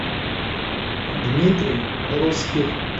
дмитрий русских